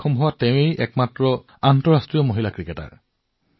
মহিলা ক্ৰিকেটৰ ক্ষেত্ৰত তেওঁৰ অৱদান অতি আকৰ্ষণীয়